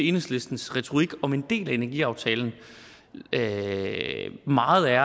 enhedslistens retorik om en del af energiaftalen meget er